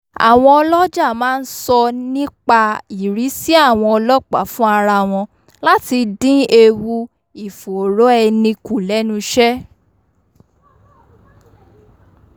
àwọn ọlọ́jà máa ń sọ nnipaìrìsí àwọn ọlọ́pàá fún ara wọn láti dín ewu ìfòòró ẹni kù lẹ́nuṣẹ́